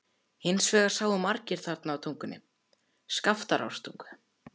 Hins vegar sáu margir þarna í Tungunni, Skaftártungu.